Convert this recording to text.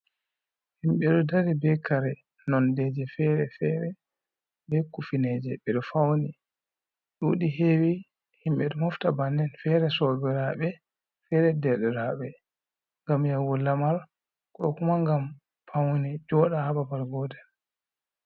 Himɓe ɗo dari be kare nondeje fere fere be kufineje ɓe ɗo fauni. Ɗuɗi hewi himɓe ɗo mofta bannin fere sobiraɓe, fere derɗiraɓe, ngam yahugo lamar ko kuma ngam paune joɗa ha babal gotel.